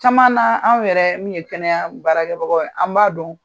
Caman na anw yɛrɛ min ye kɛnɛya baarakɛbagaw ye an b'a dɔn.